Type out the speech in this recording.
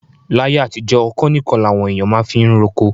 Láyé àtijọ́, ọ̀kọ́ nìkan làwọn èèyàn máa fiń roko.